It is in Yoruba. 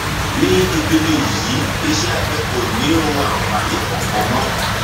ní ìpele yìí iṣẹ abẹ kò ní um àǹfààní kankan mọ